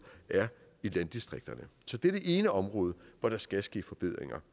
er i landdistrikterne så det er det ene område hvor der skal ske forbedringer